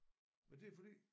Men det er fordi